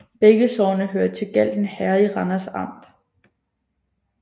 Begge sogne hørte til Galten Herred i Randers Amt